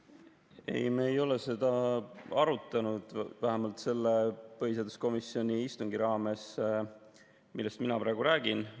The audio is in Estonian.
Ei, me ei ole seda arutanud, vähemalt selle põhiseaduskomisjoni istungi raames, millest mina praegu räägin.